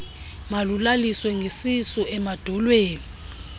malulaliswe ngesisu emadolweni